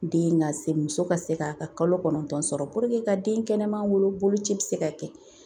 Den ka se muso ka se ka kalo kɔnɔntɔn sɔrɔ ka den kɛnɛman wolo boloci bi se ka kɛ